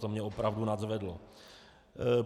To mě opravdu nadzvedlo.